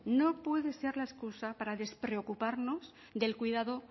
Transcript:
no puede ser la excusa para despreocuparnos del cuidado